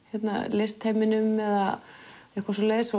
listheiminum eða eitthvað svoleiðis